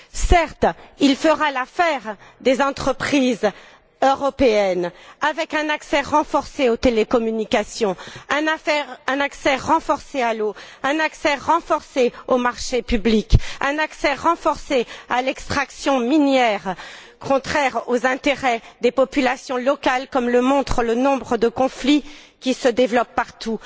Certes, il fera l'affaire des entreprises européennes, avec un accès renforcé aux télécommunications, un accès renforcé à l'eau, un accès renforcé aux marchés publics, un accès renforcé à l'extraction minière, contraire aux intérêts des populations locales comme le montre le nombre de conflits qui se développent partout.